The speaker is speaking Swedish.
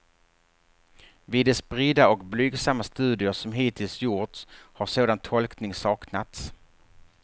Vid de spridda och blygsamma studier som hittills gjorts har sådan tolkning saknats.